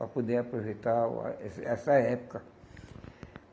Para poder aproveitar o eh essa essa época.